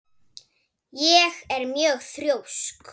Ég er mjög þrjósk.